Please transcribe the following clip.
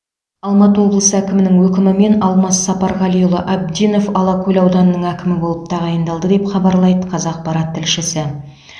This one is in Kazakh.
алматы облысы әкімінің өкімімен алмас сапарғалиұлы абдинов алакөл ауданының әкімі болып тағайындалды деп хабарлайды қазақпарат тілшісі